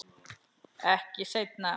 Ekki seinna.